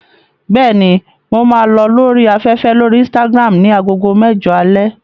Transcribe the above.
Bẹ́ẹ̀ni, mo máa lọ lórí afẹ́fẹ́ lórí Instagram ní agogo mẹ́jọ alẹ́.